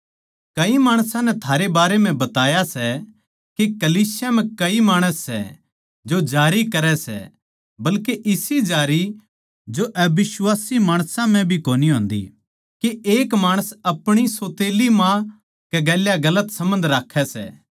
कई माणसां नै थारे बारें म्ह बताया सै के कलीसिया म्ह कई माणस सै जो जारी करै सै बल्के इसी जारी जो अबिश्वासी माणसां म्ह भी कोनी होन्दी के एक माणस अपणी सौतेल्ली माँ गैल गलत सम्बन्ध राक्खै सै